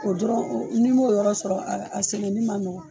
O dɔrɔn ni m'o yɔrɔ sɔrɔ a sɛnɛ ni man nɔgɔ.